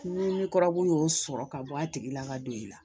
Ni ne kurabu y'o sɔrɔ ka bɔ a tigi la ka don i la